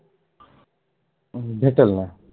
अं भेटलं ना